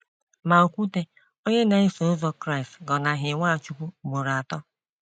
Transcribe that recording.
Ma okwute, onye na eso ụzọ Kraịst gọ naghị Nwachukwu mgboro atọ.